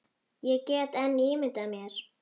Ég get enn ímyndað mér!